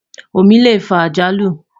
omí lẹ fà àjálù